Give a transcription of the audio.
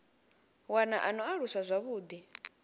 wana a no aluswa zwavhuḓi